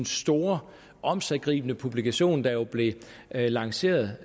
store omsiggribende publikation der jo blev lanceret